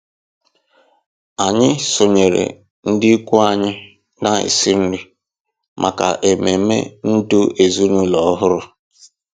Anyị sonyeere ndị ikwu anyị na-esi nri maka ememe ndụ ezinụlọ ọhụrụ.